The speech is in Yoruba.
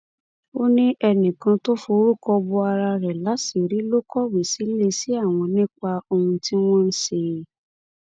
ó ní ẹnìkan tó forúkọ bo ara rẹ láṣìírí ló kọwé síléeṣẹ àwọn nípa ohun tí wọn ń ṣe